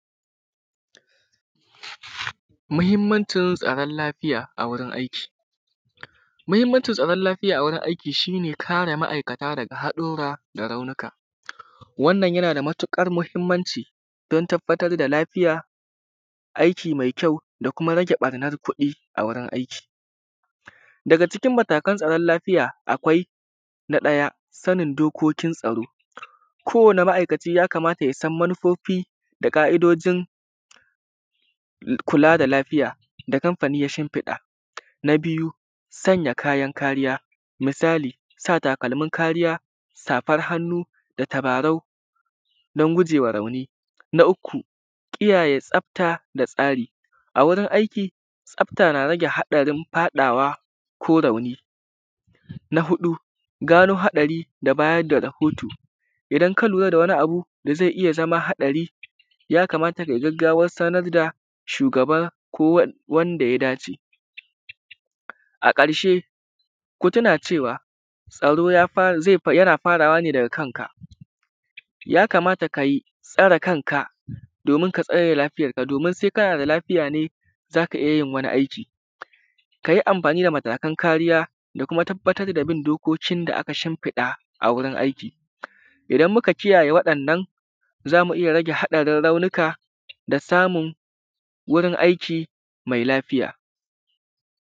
muhinmancin tsaron lafiya a wurin aiki muhinmancin tsaron lafiya a wurin aiki shi ne kare ma’aikata daga haɗura da raunuka. Wannan yana da matuƙar muhimmanci don tabartar da lafiya, aiki mai kyau, da kuma rage barnar kuɗi a wurin aiki. daga cikin matakan tsaron lafiya: akwai na ɗaya – sanin dokokin tsaro: ko wani ma’aikaci yakamata ya san manufofi da ƙa’idojin kula da lafiya da kamfanoi ya shinfiɗa. Na biyu – sanya kayan karewa: misali sa takalmin karewa, safar hannu, da tabarau, don guje ma rauni. na uku – kiyaye tsafta da tsari a wurin aiki: tsafta na rage haɗarin faɗawa ko rauni. na huɗu gano haɗari da bayar da rahoto: idan ka lura da wani abu da ze iya zama haɗari, yakamata kai gaggawan sanar da shugaba ko wanda ya da ce. A ƙarshe ku tuna cewa tsaro ya fi yana farawa ne daga kanka. Yakamata kai tsare kanka, domin ka tsare lafiyarka. domin se kana da lafiya ne za ka iya yin wani aiki. Ka yi amfani da matakan karewa da kuma tabartar da bin dokokin da aka shinfiɗa a gurin aiki. Idan muka kiyaye waɗannan, za mu iya rage haɗarin raunuka da samun wurin aiki mai lafiya.